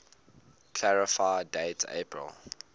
clarify date april